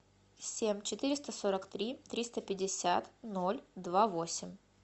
семь четыреста сорок три триста пятьдесят ноль два восемь